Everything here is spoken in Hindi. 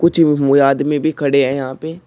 आदमी भी खड़े हैं यहां पे--